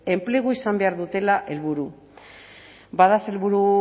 enplegua izan behar dutela helburu bada sailburu